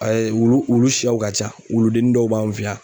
wulu wulu siyaw ka ca wuludennin dɔw b'an fɛ yan.